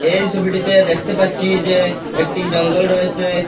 এই সবিটিতে দেখতে পাচ্ছি যে একটি জঙ্গল রয়েসে।